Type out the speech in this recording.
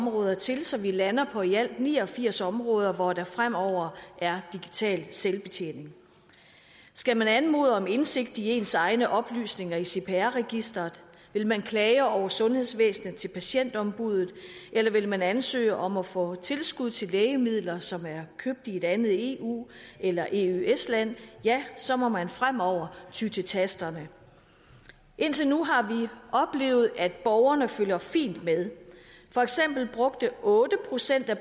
områder til så vi lander på i alt ni og firs områder hvor der fremover er digital selvbetjening skal man anmode om indsigt i ens egne oplysninger i cpr registeret vil man klage over sundhedsvæsenet til patientombuddet eller vil man ansøge om at få tilskud til lægemidler som er købt i et andet eu eller eøs land ja så må man fremover ty til tasterne indtil nu har vi oplevet at borgerne følger fint med for eksempel brugte otte procent af